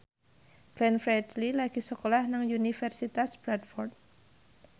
Glenn Fredly lagi sekolah nang Universitas Bradford